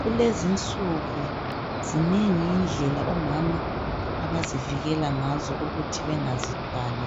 Kulezi insuku zinengi indlela omama abazivikela ngazo ukuthi bengazithwali